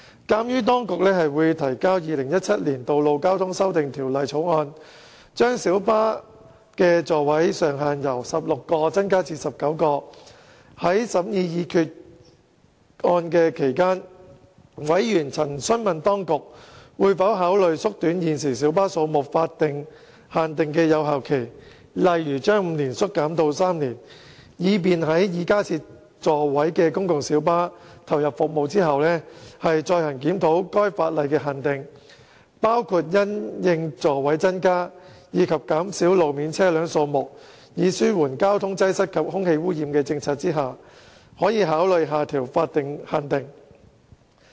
鑒於當局會提交《2017年道路交通條例草案》，將小型巴士的座位上限由16個增至19個，在審議擬議決議案期間，委員曾詢問當局會否考慮縮短現時小巴數目法定限定的有效期，例如由5年縮短至3年，以便在已加設座位的公共小巴投入服務後，再行檢討該法定限定，包括因應座位增加及減少路面車輛數目以紓緩交通擠塞和空氣污染的政策下，可考慮下調法定限定。